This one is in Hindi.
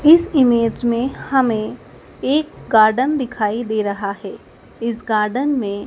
इस इमेज में हमे एक गार्डन दिखाई दे रहा हैं इस गार्डन में --